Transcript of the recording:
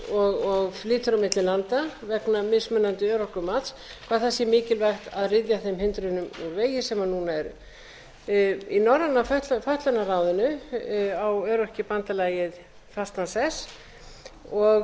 og flytur á milli landa vegna mismunandi örorkumats hvað það sé mikilvægt að ryðja þeim hindrunum úr vegi sem núna eru í norræna fötlunarráðinu á öryrkjabandalagið fastan sess og